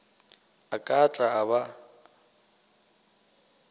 a ka tla a ba